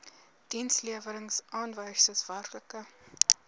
dienslewerings aanwysers werklike